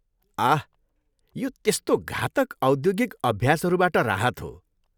आह! यो त्यस्तो घातक औद्योगिक अभ्यासहरूबाट राहत हो।